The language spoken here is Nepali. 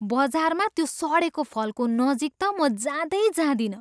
बजारमा त्यो सडेको फलको नजिक त म जाँदै जाँदिनँ।